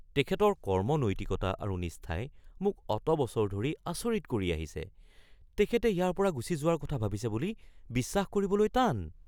তেখেতৰ কৰ্ম নৈতিকতা আৰু নিষ্ঠাই মোক অত বছৰ ধৰি আচৰিত কৰি আহিছে, তেখেতে ইয়াৰ পৰা গুচি যোৱাৰ ভাবিছে বুলি বিশ্বাস কৰিবলৈ টান।